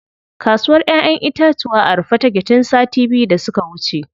Kasuwr ƴaƴen itatuwa a rufe take tun sati biyu da suka wuce.